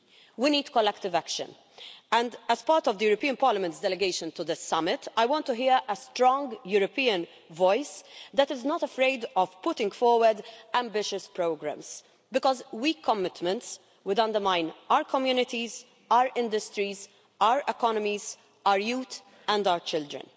We need collective action and, as part of Parliament's delegation to the Summit, I want to hear a strong European voice that is not afraid of putting forward ambitious programmes, because weak commitments would undermine our communities, our industries, our economies, our youth and our children.